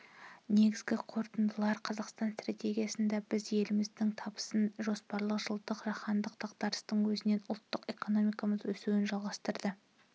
негізгі қорытындылар қазақстан стратегиясында біз еліміздің табысын жоспарладық жылдардағы жаһандық дағдарыстың өзінде ұлттық экономикамыз өсуін жалғастырды